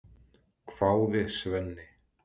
hváði Svenni.